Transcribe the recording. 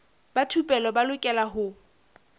ba thupelo ba lokela ho